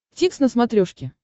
дтикс на смотрешке